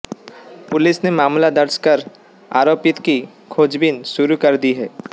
police ने मामला दर्ज कर आरोपित की खोजबीन शुरू कर दी है